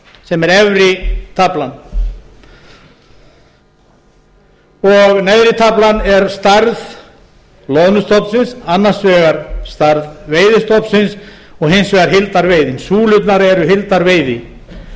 sem er efri taflan neðri taflan er stærð loðnustofnsins annars vegar stærð veiðistofnsins og hins vegar heildarveiðin súlurnar eru heildarveiði